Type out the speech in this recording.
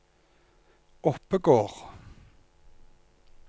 Oppegård